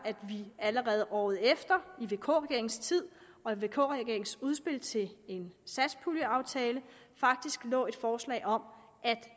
allerede året efter i vk regeringens tid og i vk regeringens udspil til en satspuljeaftale faktisk lå et forslag om at